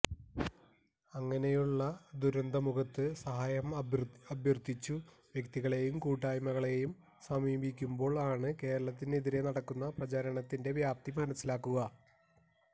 അങ്ങനെയുള്ള ഒരു ദുരന്തമുഖത്ത് സഹായം അഭ്യർത്ഥിച്ചു വ്യക്തികളെയും കൂട്ടായ്മകളെയും സമീപിക്കുമ്പോൾ ആണ് കേരളത്തിനെതിരെ നടക്കുന്ന പ്രചാരണത്തിന്റെ വ്യാപ്തി മനസിലാക്കുക